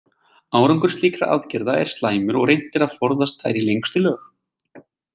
Árangur slíkra aðgerða er slæmur og er reynt að forðast þær í lengstu lög.